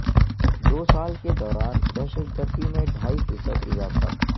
دو سال کے دوران دہشت گردی میں ڈھائی فیصد اضافہ